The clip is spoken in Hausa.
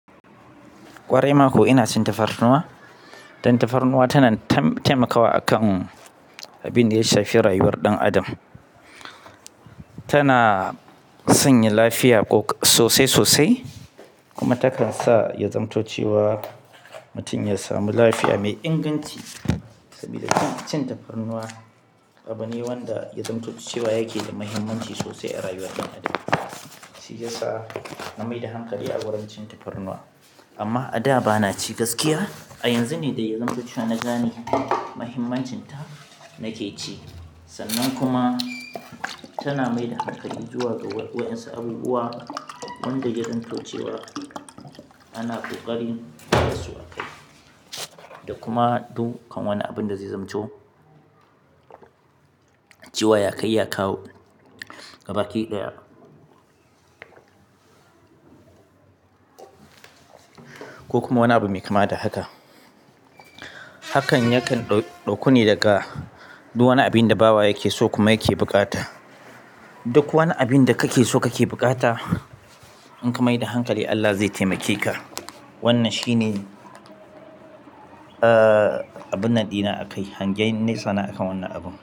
Ƙwarai mako ina cin tafarnuwa. Dan tafarnuwa tana taimakawa akan abin da ya shafi rayuwar ɗan adam. Tana sanya lafiya sosai sosai kuma takan sa ya zamto cewa mutum ya samu lafiya mai inganci. Saboda cin tafarnuwa, abune wanda ya zamto cewa yake da muhimmanci sosai a rayuwar ɗan adam. Shi yasa na mai da hankali a wurin cin tafarnuwa. Amma a da bana ci gaskiya. A yanzu ne ɗaya zamto cewa na gane muhimmancinta nake ci. Sannan kuma tana mai da hankali zuwa ga wayansa abubuwa wanda ya zamto cewa ana ƙoƙarin basu akai. Da kuma dukkan wani abinda zai zamto cewa ya ka iya kawo gaba ki ɗaya ko kuma wani abu mai kama da haka. Hakan yakan ɗauku ne daga duk wani abin da bawa yake so kuma yake buƙata. Duk wani abin da kake so kake buƙata, in ka mai da hankali Allah zai taimake ka. Wannan shine, ah, abun nan ɗina a kai. Hangen nesa nai akan wannan abun.